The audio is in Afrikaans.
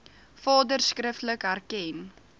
vader skriftelik erken